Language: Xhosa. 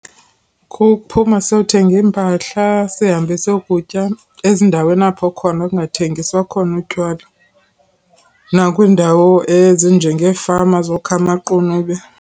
Kuphuma siyothengi mpahla, sihambe siyokutya ezindaweni apho khona kungathengiswa khona utywala, nakwiindawo ezinjengeefama zokha amaqunube.